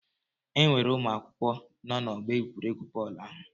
Enwere ụmụ akwụkwọ nọ n'ọgbọ egwuregwu bọọlụ ahụ?